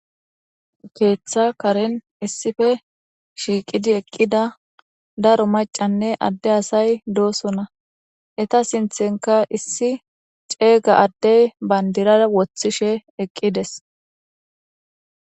Keeththa karen issippe shiiqidi eqqida daro macanne adde asay doosona. Eta sinthenka issi ceega addey bandira woththishe eqqi dees.